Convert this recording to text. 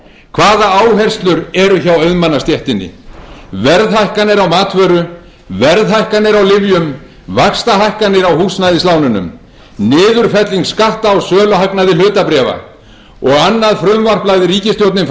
hvaða áherslur eru hjá auðmannastéttinni verðhækkanir á matvöru verðhækkanir á lyfjum vaxtahækkanir á húsnæðislánunum niðurfelling skatta á söluhagnaði hlutabréfa og annað frumvarp lagði ríkisstjórnin